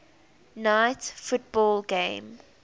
night football game